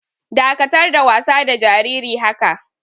Dakatar da wasa da jariri haka!